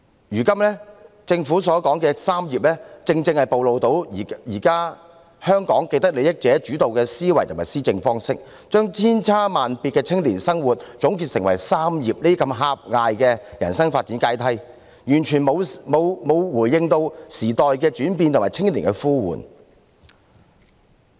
如今政府所說的"三業"正是暴露出現今香港由既得利益者主導的思維與施政方式，將千差萬別的青年生活方式總結成"三業"這種狹隘的人生發展階梯，完全沒有回應時代的轉變和青年的呼喚。